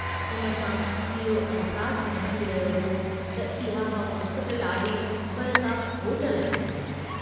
उन सां इहो अहसासु न थी रहियो हो त इहा का हॉस्पिटल आहे पर का होटल आहे।